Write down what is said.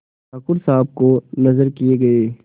ठाकुर साहब को नजर किये गये